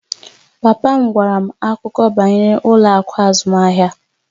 Papa m gwara m akụkọ banyere ụlọ akụ azụmahịa